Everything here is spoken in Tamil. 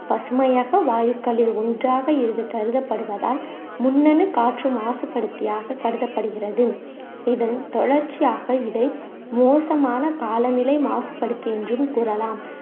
பசுமையக வாயுக்களில் ஒண்றாக இது கருதப்படுவதால் முன்னெனு காற்று மாசுபடுத்தி ஆக கருதப்படுகிறது இதன் தொடர்ச்சியாக இதை மோசமான காலநிலை மாசுபடுத்தி என்றும் கூறலாம்